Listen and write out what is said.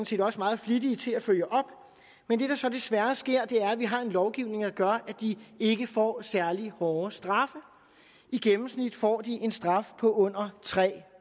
set også meget flittige til at følge op men det der så desværre sker er at vi har en lovgivning der gør at de ikke får særlig hårde straffe i gennemsnit får de en straf på under tre